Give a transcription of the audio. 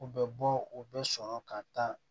U bɛ bɔ u bɛ sɔrɔ ka taa